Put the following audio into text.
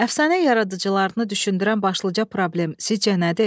Əfsanə yaradıcılarını düşündürən başlıca problem sizcə nədir?